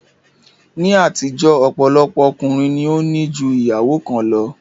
Ní àtijó ọ̀pọ̀lọpọ̀ ọkùnrin ni ó ní ju ìyàwó kan lọ